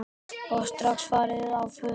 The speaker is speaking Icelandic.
Og strax farin á fullt.